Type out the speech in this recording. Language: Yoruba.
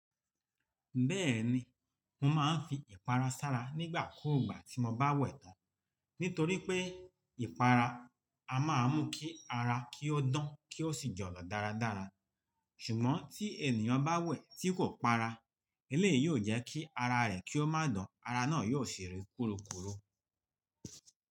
Bẹ́ẹ̀ni, mo máa ń fi ìpara sára nígbà kúùgbà tí mo bá wẹ̀ tán. Nítorí pé ìpara a máa ń mú kí ara kí ó dán kí ó sì jọ̀lọ̀ dáradára. Ṣùgbọ́n tí ènìyàn bá wẹ̀ tí kò para, eléèyí yóò jẹ́ kí ara rẹ̀ kí ó má dán, ara náà yóò sì rí kúrúkúrú.